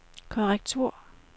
korrektur